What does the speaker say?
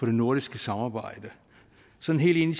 det nordiske samarbejde sådan helt ind